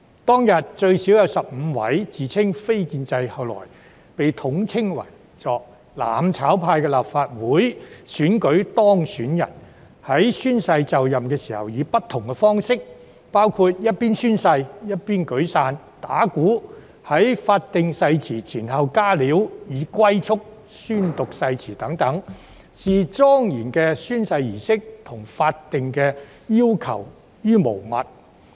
當天最少有15名自稱"非建制"——後來被統稱為"攬炒派"的立法會選舉當選人——在宣誓就任時以不同方式宣讀誓言，包括一邊宣誓一邊舉傘、打鼓；在法定誓言前後"加料"，以及用"龜速"宣讀誓言，視莊嚴的宣誓儀式和法定要求如無物。